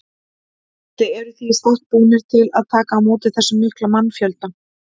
Gísli: Eruð þið í stakk búnir til að taka á móti þessum mikla mannfjölda?